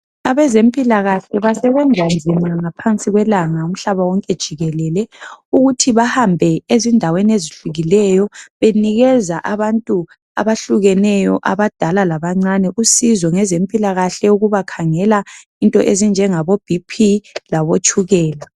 Abezempila kahle basebenza nzima ngaphansi kwelanga umhlaba wonke jikelele ukuthi bahambe ezindaweni ezihlukileyo benikeza abantu abehlukeneyo abadala labancane usizo ngezempila kahle ukubakhangela into ezinjengabo Bp labotshukela